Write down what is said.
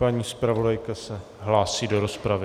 Paní zpravodajka se hlásí do rozpravy.